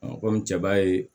komi cɛ b'a ye